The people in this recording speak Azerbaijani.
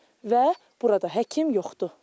Və burada həkim yoxdur.